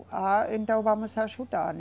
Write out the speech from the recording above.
Ah, então vamos ajudar, né?